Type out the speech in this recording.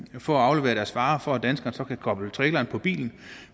for at aflevere deres varer for at danskerne så kan koble traileren på bilen